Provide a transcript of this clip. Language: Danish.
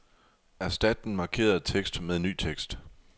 Erstat den markerede tekst med ny tekst.